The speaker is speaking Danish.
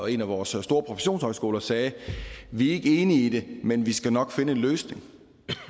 en af vores store professionshøjskoler sagde vi er ikke enige i det men vi skal nok finde en løsning